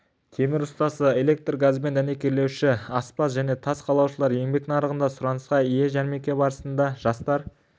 темір ұстасы электр-газбен дәнекерлеуші аспаз және тас қалаушылар еңбек нарығында сұранысқа ие жәрмеңке барысында жастар